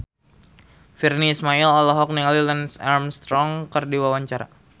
Virnie Ismail olohok ningali Lance Armstrong keur diwawancara